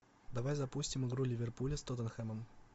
давай запустим игру ливерпуля с тоттенхэмом